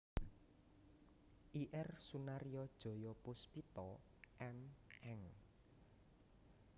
Ir Sunaryo Joyopuspito M Eng